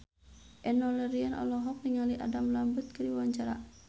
Enno Lerian olohok ningali Adam Lambert keur diwawancara